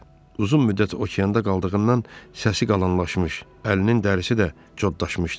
Uzun müddət okeanda qaldığından səsi qalanlaşmış, əlinin dərisi də codlaşmışdı.